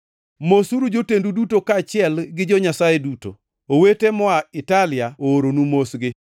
Mosuru jotendu duto kaachiel gi jo-Nyasaye duto. Owete moa Italia ooronu mosgi.